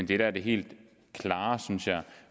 det der er det helt klare